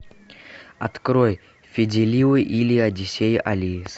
открой фиделио или одиссея алисы